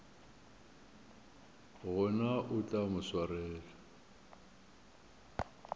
gona o tla mo swarela